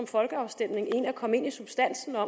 folkeafstemning end at komme ind i substansen og